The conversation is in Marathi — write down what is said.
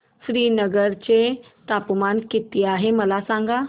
श्रीनगर चे तापमान किती आहे मला सांगा